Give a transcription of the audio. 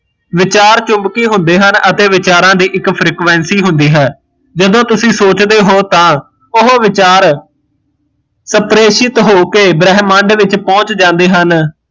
ਵਿਚਾਰ ਚਉਬਕੀ ਹੁੰਦੇ ਹਨ ਅਤੇ ਵਿਚਾਰਾ ਦੀ ਇੱਕ frequency ਹੁੰਦੀ ਹੈ, ਜਦੋਂ ਤੁਸੀਂ ਸੋਚਦੇ ਹੋ ਤਾਂ ਉਹ ਵਿਚਾਰ, ਬ੍ਰਹਮੰਡ ਪਹੁੰਚ ਜਾਂਦੇ ਹਨ